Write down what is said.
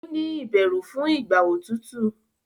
o ní bẹrù fún Ìgbà òtútù.